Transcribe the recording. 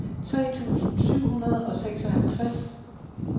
tre tusind syv hundrede og seksoghalvtreds